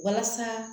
Walasa